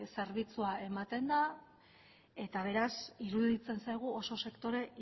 zerbitzua ematen da eta beraz iruditzen zaigu oso sektore